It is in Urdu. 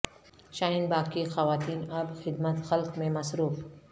شاہین باغ کی خواتین اب خدمت خلق میں مصروف